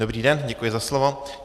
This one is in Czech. Dobrý den, děkuji za slovo.